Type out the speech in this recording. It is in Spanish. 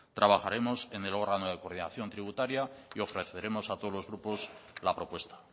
trabajaremos en el órgano de coordinación tributaria y ofreceremos a todos los grupos la propuesta